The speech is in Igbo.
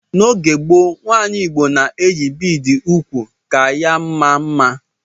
N'oge gboo, umunwanyi igbo na-eyi bịịdị n'úkwù ka ha maa mma.